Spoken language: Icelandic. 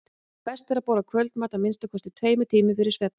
best er að borða kvöldmat að minnsta kosti tveimur tímum fyrir svefninn